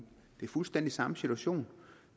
det er fuldstændig samme situation